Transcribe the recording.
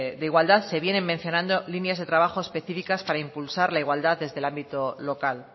de igualdad se vienen mencionando líneas de trabajo específicas para impulsar la igualdad desde el ámbito local